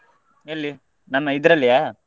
ಎಲ್ಲಿ ನಮ್ಮ ಇದ್ರಲ್ಲಿಯಾ? .